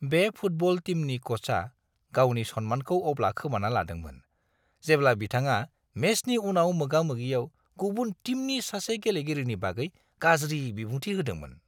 बे फुटबल टीमनि क'चआ गावनि सन्मानखौ अब्ला खोमाना लादोंमोन, जेब्ला बिथाङा मेचनि उनाव मोगा-मोगियाव गुबुन टीमनि सासे गेलेगिरिनि बागै गाज्रि बिबुंथि होदोंमोन!